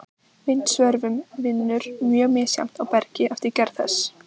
Vindsvörfun vinnur mjög misjafnt á bergi eftir gerð þess.